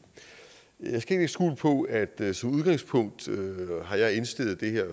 på at jeg som udgangspunkt har indstillet det her